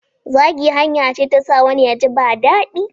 Zagi hanya ce ta sa wani ya ji ba daɗi.